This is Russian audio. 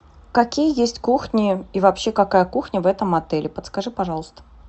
какие есть кухни и вообще какая кухня в этом отеле подскажи пожалуйста